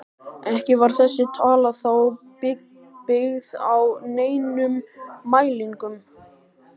Ekki var þessi tala þó byggð á neinum mælingum.